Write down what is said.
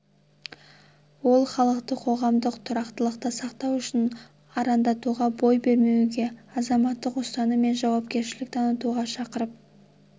ол халықты қоғамдық тұрақтылықты сақтау үшін арандатуға бой бермеуге азаматтық ұстаным мен жауапкершілік танытуға шақырып